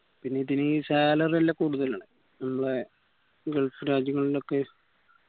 പിന്നെ ഇതിന് salary നല്ല കൂടുതലുല്ലേ നമ്മളെ gulf രാജ്യങ്ങളിന്ന് ഒക്കെ